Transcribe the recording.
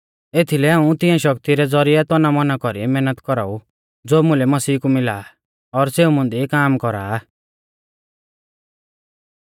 एथीलै हाऊं तिंया शक्ति रै ज़ौरिऐ तनामौना कौरी मैहनत कौराऊ ज़ो मुलै मसीह कु मिला आ और सेऊ मुंदी काम कौरा आ